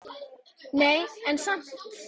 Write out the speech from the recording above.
Nei, en samt.